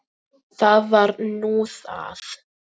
Það var nú það!